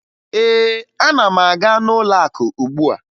Ee, ana m aga n'ụlọakụ ugbua